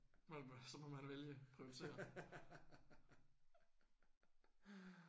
Så må man vælge prioritere